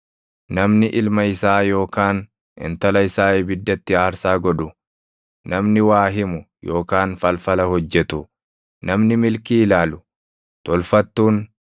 Namni ilma isaa yookaan intala isaa ibiddatti aarsaa godhu, namni waa himu yookaan falfala hojjetu, namni milkii ilaalu, tolfattuun,